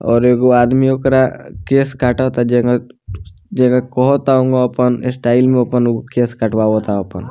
और एगो आदमी ओकरा केश काटता जेना जेना कहता उ अपन स्टाइल में आपन उ केश कटवावता अपन।